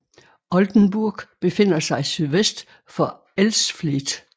Oldenburg befinder sig sydvest for Elsfleth